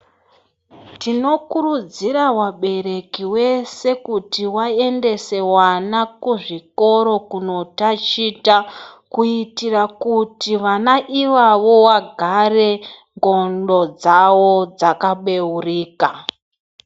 Tinokurudzira kuti vabereki vese kuti vaendese vana kuzvitoro kundotaticha kuitira kuti vana ivavo vagare ngonxo dzawo Dzakabeurika.